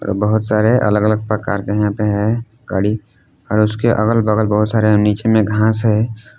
बहुत सारे अलग अलग प्रकार के यहां पे है गाड़ी और उसके अगल बगल बहुत सारे नीचे में घास है।